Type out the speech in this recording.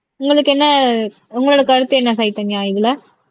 உங்களுக்கு என்ன உங்களோட கருத்து என்ன சைதன்யா இதுல